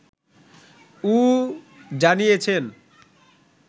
উ জানিয়েছেন